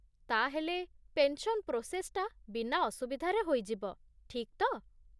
ତା'ହେଲେ, ପେନ୍‌ସନ୍ ପ୍ରୋସେସ୍‌ଟା ବିନା ଅସୁବିଧାରେ ହୋଇଯିବ, ଠିକ୍ ତ?